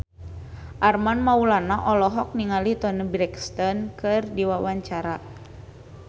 Armand Maulana olohok ningali Toni Brexton keur diwawancara